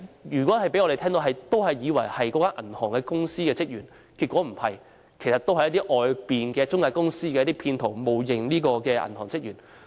如果讓我們接到這些電話，也會以為是銀行職員致電，但其實不是，他們只是一些中介公司的騙徒，冒認銀行職員。